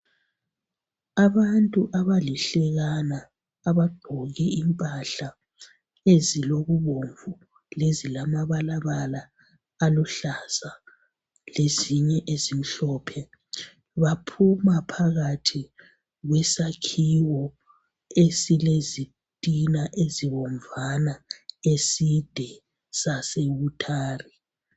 Abantu abalihlekana abagqoke impahla ezilokubomvu lezilamabalabala aluhlaza lezinye ezimhlopje baphuma phakathi kwesakhiwo esilezitina ezibomvana eside